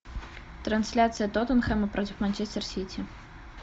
трансляция тоттенхэма против манчестер сити